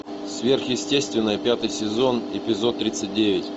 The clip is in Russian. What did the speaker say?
сверхъестественное пятый сезон эпизод тридцать девять